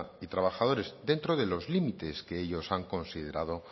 y trabajadores dentro de los límites que ellos han considerado